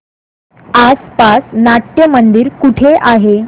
आसपास नाट्यमंदिर कुठे आहे